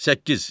Səkkiz.